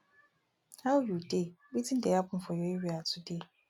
how you dey wetin dey happen for your area today